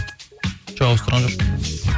жоқ ауыстырған жоқпын